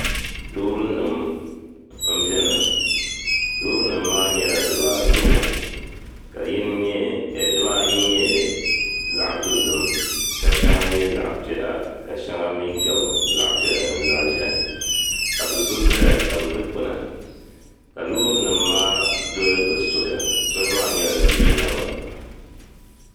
loori nima m beni loori nima maa nyɛla dibaawobu ka dibaayi nyɛ zaɣa dozim ka sheŋa nyɛ zaɣa piɛla ka sheŋa mi gabi zaɣa piɛla mini zaɣa ʒehi ka do'so zaya n tabi dikpini ka loori nima maa doli bɛ soli soli maa nyela ziliji naba